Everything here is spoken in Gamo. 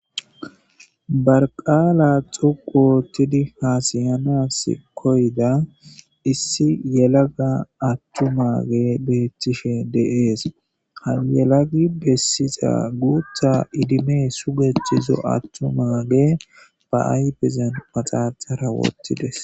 Barqaala xuqu woottidi haasayanas koyda issi yelaga attumage beethtishe deees hayelagi bessiza guutha idime sugethizo attu maage ba aybezan paxaxara wottides.